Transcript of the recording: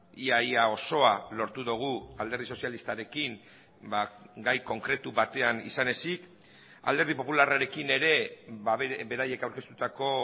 ia ia osoa lortu dugu alderdi sozialistarekin gai konkretu batean izan ezik alderdi popularrarekin ere beraiek aurkeztutako